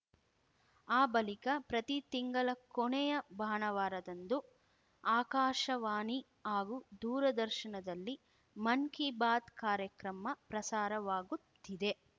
ಆ ಬಳಿಕ ಪ್ರತಿ ತಿಂಗಳ ಕೊನೆಯ ಭಾನುವಾರದಂದು ಆಕಾಶವಾಣಿ ಹಾಗೂ ದೂರದರ್ಶನದಲ್ಲಿ ಮನ್‌ ಕೀ ಬಾತ್‌ ಕಾರ್ಯಕ್ರಮ ಪ್ರಸಾರವಾಗುತ್ತಿದೆ